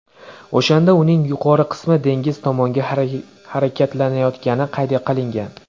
O‘shanda uning yuqori qismi dengiz tomonga harakatlanayotgani qayd qilingan.